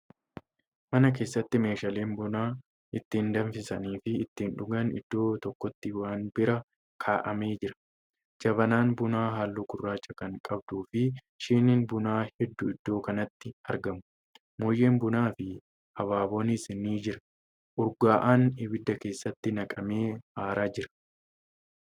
Mana keessatti meeshaaleen buna ittiin danfisaniifi ittiin dhugan iddoo tokkotti wanbira kaa'amee jira. jabanaan bunaa halluu gurraacha Kan qabduufi shiniin bunaa hedduu iddoo kanatti argamu. mooyyeen bunaafi abaaboonis ni Jira. urgaa'aan abidda keessatti naqamee aaraa Jira.